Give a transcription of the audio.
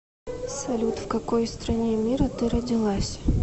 салют в какой стране мира ты родилась